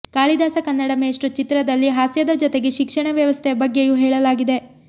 ಕಾಳಿದಾಸ ಕನ್ನಡ ಮೇಷ್ಟ್ರು ಚಿತ್ರದಲ್ಲಿ ಹಾಸ್ಯದ ಜೊತೆಗೆ ಶಿಕ್ಷಣ ವ್ಯವಸ್ಥೆಯ ಬಗ್ಗೆಯು ಹೇಳಲಾಗಿದೆ